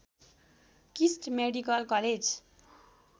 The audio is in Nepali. KIST medical college